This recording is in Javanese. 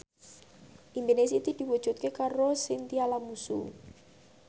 impine Siti diwujudke karo Chintya Lamusu